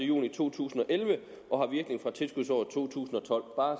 juni to tusind og elleve og har virkning fra tilskudsåret to tusind og